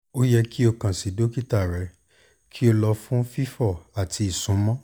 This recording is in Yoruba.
o yẹ ki o kan si dokita rẹ ki o lọ fun fifọ ati isunmọ